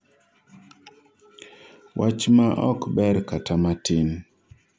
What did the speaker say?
wach ma ok ber kata matin